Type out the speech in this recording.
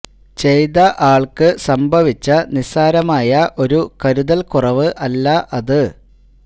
ചെയ്ത ആൾക്ക് സംഭവിച്ച നിസാരമായ ഒരു കരുതൽ കുറവ് അല്ല അത്